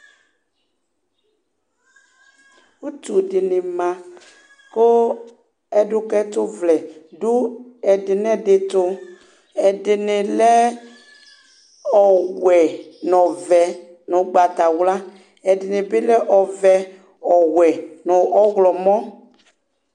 ʋtʋ dini ma kʋ ɛdʋka ɛtʋ vlɛ dʋɛdi nʋɛdi tʋ ɛdinilɛ ɔwɛ nʋ ɔvɛ nʋɔgbatawla, ɛdini bi lɛ ɔvɛ ɔwɛ nʋ ɔwlɔmɔ